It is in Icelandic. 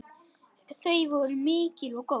Þau voru mikil og góð.